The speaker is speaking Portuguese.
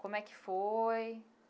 Como é que foi?